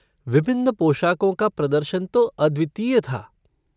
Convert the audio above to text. विभिन्न पोशाकों का प्रदर्शन तो अद्वितीय था।